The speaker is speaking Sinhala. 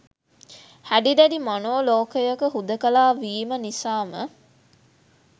හැඩි දැඩි මනෝ ලෝකයක හුදකලා වීම නිසාම